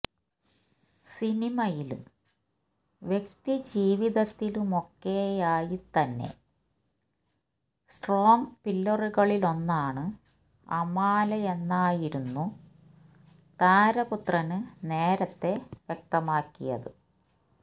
സിനിമയിലും വ്യക്തി ജീവിതത്തിലുമൊക്കെയായി തന്നെ സ്ട്രോങ്ങ് പില്ലറുകളിലൊന്നാണ് അമാലെന്നായിരുന്നു താരപുത്രന് നേരത്തെ വ്യക്തമാക്കിയത്